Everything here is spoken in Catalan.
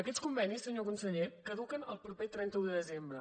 aquests convenis senyor conseller caduquen el proper trenta un de desembre